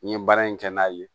N ye baara in kɛ n'a ye